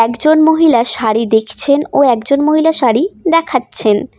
একজন মহিলা শাড়ি দেখছেন ও একজন মহিলা শাড়ি দেখাচ্ছেন।